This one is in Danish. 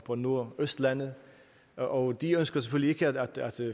på nordøstlandet og de ønsker selvfølgelig ikke at